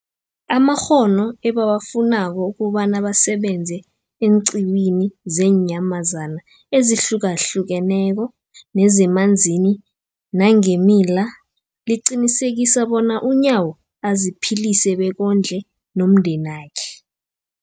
amakghono ebawafunako ukobana basebenze eenqiwini zeenyamazana ezihlukahlukeneko nezemanzini nangeemila, liqinisekisa bona uNyawo aziphilise bekondle nomndenakhe.